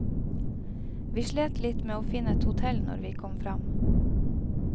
Vi slet litt med å finne et hotell når vi kom fram.